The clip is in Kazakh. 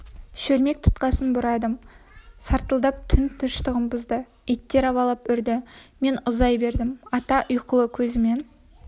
шөлмек тұтқасын бұрадым сартылдап түн тыныштығын бұзды иттер абалап үрді мен ұзай бердім ата ұйқылы көзімен